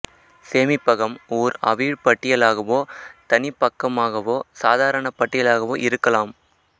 சேமிப்பகம் ஓர் அவிழ் பட்டியலாகவோ தனிப்பக்கமாகவோ சாதாரண பட்டியலாகவோ இருக்கலாம்